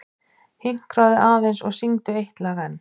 Hinkraðu aðeins og syngdu eitt lag enn.